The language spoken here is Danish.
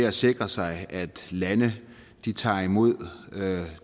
at sikre sig at lande tager imod